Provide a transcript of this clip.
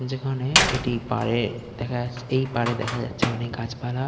যেখানে এটি পাড়ে দেখা যাছে এই পাড়ে দেখা যাচ্ছে অনেক গাছপালা-আ--